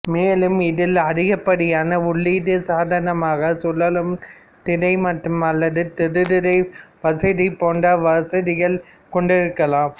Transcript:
மேலும் இதில் அதிகப்படியான உள்ளீடு சாதனமாக சுழலும் திரை மற்றும் அல்லது தொடுதிரை வசதி போன்ற வசதிகளை கொண்டிருக்கலாம்